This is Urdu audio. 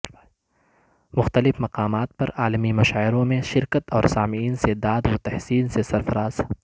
مختلف مقامات پر عالمی مشاعروں میں شرکت اور سامعین سے داد و تحسین سے سرفراز